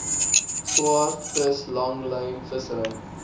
swaardvis langlyn vissery